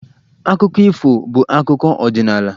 Akụkọ ifo bụ akụkọ ọdịnala